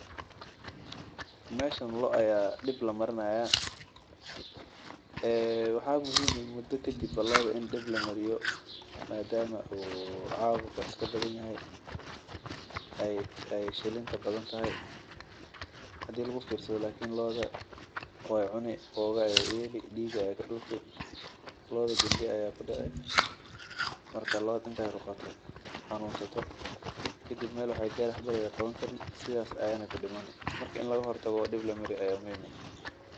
Meeshan loo aya la daweyni haaya waxaa muhiim ah muda kadib in lamariyo madama cabuqa uu badan yahay looda waay xanuunsani waxeey gaari meel waxba laga qaban karin waayna dimani.